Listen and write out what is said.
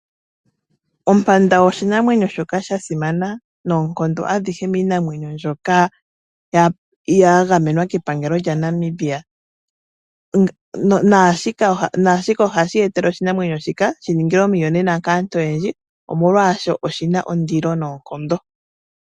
Ompanda oshinamwenyo shoka sha simana noonkondo adhihe miinamwenyo mbyoka ya gamenwa kepangelo lya Namibia ,nashika ohashi etele oshinamwenyo shika shi ningilwe omiyonena kaantu oyendji omolwaashoka oshina ondilo noonkondo